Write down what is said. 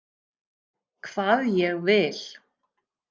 Hvað ég vil.